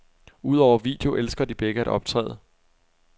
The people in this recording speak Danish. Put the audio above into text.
Udover video elsker de begge at optræde.